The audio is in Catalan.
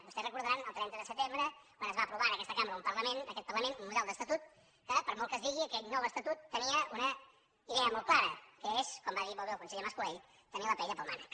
vostès deuen recordar el trenta de setembre quan es va aprovar en aquesta cambra en aquest parlament un model d’estatut que per molt que es digui aquell nou estatut tenia una idea molt clara que és com va dir molt bé el conseller mas colell tenir la paella pel mànec